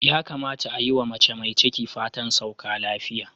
Ya kamata a yi wa mace mai ciki fatan sauka afiya.,